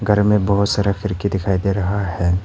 घर मे बहुत सारा खिड़की दिखाई दे रहा है।